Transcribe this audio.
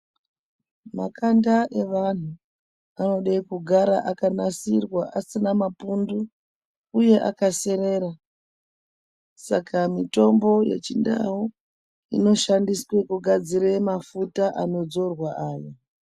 Makanda evantu anode kugara akanasirwa asina mapundu uye akaserera. Saka mitombo yechindau, inoshandiswa kugadzire mafuta anodzorwa aya.